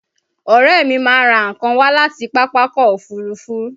Ọ̀rẹ́ mi máa ń rà nǹkan wá láti Pápákọ̀ Òfurufú